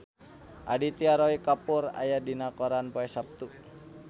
Aditya Roy Kapoor aya dina koran poe Saptu